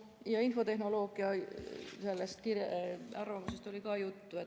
Eesti Infotehnoloogia ja Telekommunikatsiooni Liidu arvamusest oli ka juttu.